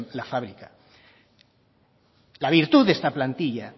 la fábrica la virtud de esa plantilla